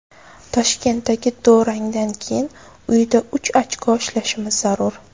Toshkentdagi durangdan keyin uyda uch ochko ishlashimiz zarur.